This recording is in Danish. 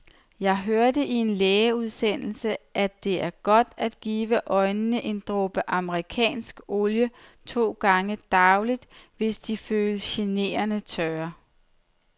Jeg hørte i en lægeudsendelse, at det er godt at give øjnene en dråbe amerikansk olie to gange daglig, hvis de føles generende tørre.